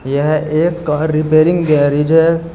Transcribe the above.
यह एक car repairing garage है।